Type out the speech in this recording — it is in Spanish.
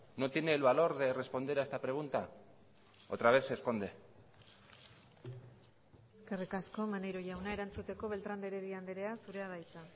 no tiene el valor de responder a esta pregunta otra vez se esconde eskerrik asko maneiro jauna erantzuteko beltrán de heredia andrea zurea da hitza